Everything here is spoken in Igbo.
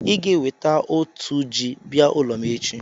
I ga-eweta otu ji bịa ụlọ m echi.